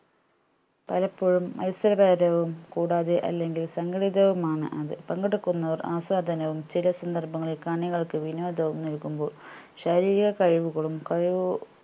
പലപ്പോഴും മത്സരപരവും കൂടാതെ അല്ലെങ്കിൽ സംഘടിതവുമാണ് അത് പങ്കെടുക്കുന്നവർ ആസ്വാദനവും ചില സന്ദർഭങ്ങളിൽ കാണികൾക്ക് വിനോദവും നൽകുമ്പോൾ ശാരീരിക കഴിവുകളും കഴിവു